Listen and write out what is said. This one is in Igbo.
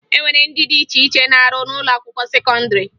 E nwere ndị dị iche iche na-arụ n'ụlọakwụkwọ sekọndịrị